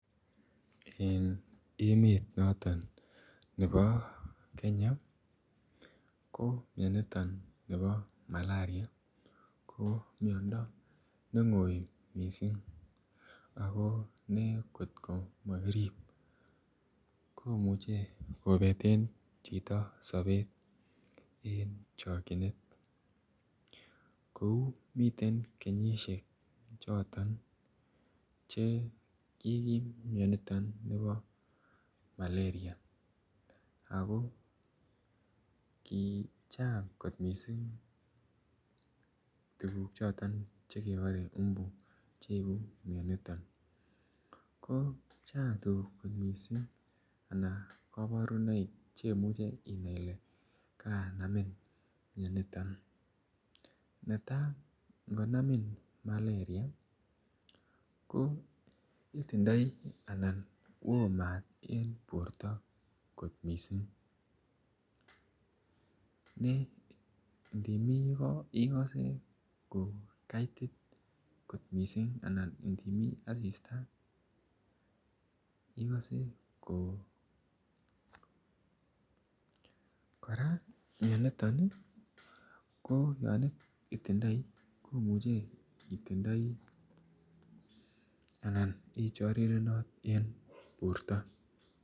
En emet noton nebo kenya ko mioniton nebo malaria ko miondo nengoi missing ako ne kotko mokirib komuche kopeten chito sobet en chokinet, kou miten kenyishek choton che kikim mioniton nebo malaria ako kichang kot missing tukuk choton chekebore mbu cheibu mioniton ko chang tukuk missing anan koborunoik cheimuche inai ile kanamin mioniton. Netai ngonamin maleria ko itindoi anan woo maat en borto kot missing ne ndimiii koo ikose ko kaitik kot missing anan ndimiii asista ikose ko. Koraa ,mioniton ko yon itindoi ko imuche itindoi anan ichorirenot en borto.